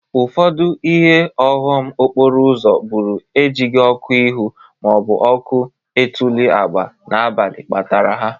Ọfụdụ ihe ọghọm okporo bụrụ e jighi ọkụ ihu ma ọ bụ ọkụ etuli agba n'abalị kpatara ha.